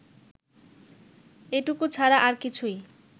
এটুকু ছাড়া আর কিছুই